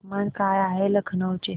तापमान काय आहे लखनौ चे